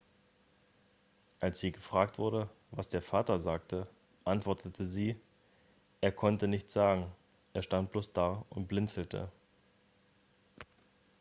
als sie gefragt wurde was der vater sagte antwortete sie er konnte nichts sagen er stand bloß da und blinzelte